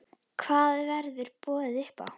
Hvað verður boðið upp á?